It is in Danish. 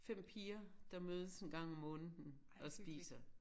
5 piger der mødes en gang om måneden og spiser